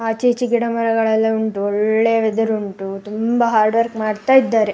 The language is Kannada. ಆಚೆ ಈಚೆ ಗಿಡಮರಗಳೆಲ್ಲ ಉಂಟು ಒಳ್ಳೆ ವೆದರ್ ಉಂಟು ತುಂಬಾ ಹಾರ್ಡವರ್ಕ್ ಮಾಡ್ತಾ ಇದ್ದಾರೆ.